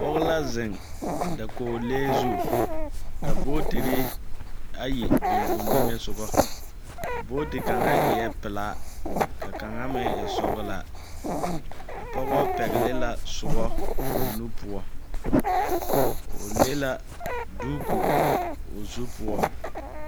Pɔge la zeŋ dakoolee zu, ka bootiri ayi biŋ o niŋesogɔ. A booti kaŋ eɛɛ pelaa ka kaŋa meŋ e sɔgelaa. A pɔgɔ pɛgele la soɔ o nu poɔ. O le la duuku o zu poɔ.